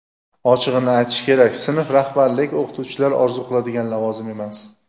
Ochig‘ini aytish kerak sinf rahbarlik o‘qituvchilar orzu qiladigan lavozim emas.